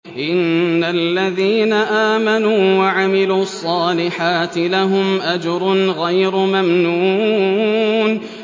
إِنَّ الَّذِينَ آمَنُوا وَعَمِلُوا الصَّالِحَاتِ لَهُمْ أَجْرٌ غَيْرُ مَمْنُونٍ